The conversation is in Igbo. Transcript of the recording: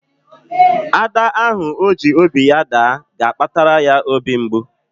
Ada ahụ ọ ji obi ya daa ga-akpatara ya obi mgbu.